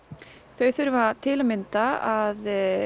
þau þurfa til að mynda að